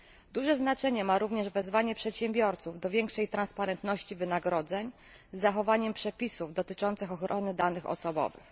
Duże znaczenie ma również wezwanie przedsiębiorców do większej przejrzystości wynagrodzeń z zachowaniem przepisów dotyczących ochrony danych osobowych.